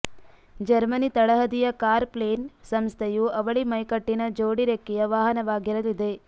Germany ತಳಹದಿಯ car plane ಸಂಸ್ಥೆಯು ಅವಳಿ ಮೈಕಟ್ಟಿನ ಜೋಡಿರೆಕ್ಕೆಯ ವಾಹನವಾಗಿರಲಿದೆ